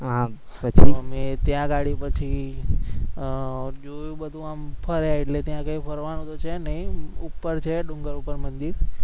આમ પછી